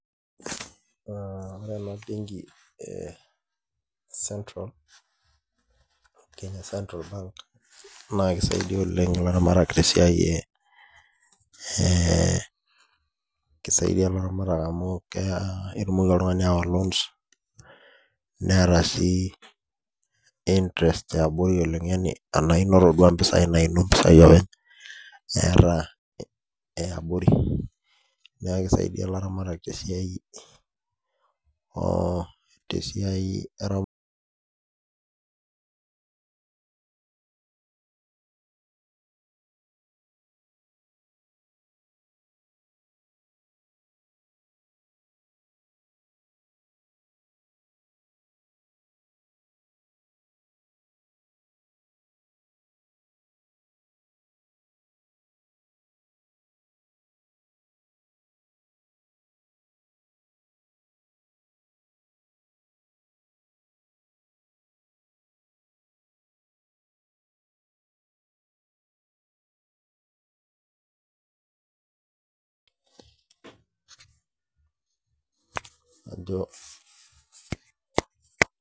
Ore ena benki ee central naa kisaidai oleng' elaramatak tee siai amu ketumoki oltung'ani awa loans Neeta sii interest yabori oleng yaani enainoto oo duo mpisai Naini mpisai openy etaa abori neeku kisaidia elaramatak tesiai eramatare.